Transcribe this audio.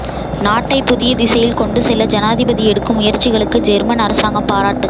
நாட்டை புதிய திசையில் கொண்டுசெல்ல ஜனாதிபதி எடுக்கும் முயற்சிகளுக்கு ஜேர்மன் அரசாங்கம் பாராட்டு